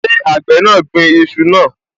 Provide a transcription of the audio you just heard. Ṣé àgbẹ̀ náà gbin iṣu náà?